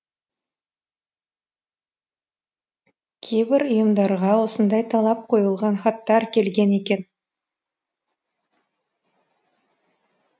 кейбір ұйымдарға осындай талап қойылған хаттар келген екен